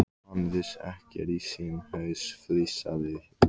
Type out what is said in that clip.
Hann vissi ekkert í sinn haus, flissaði Lilla.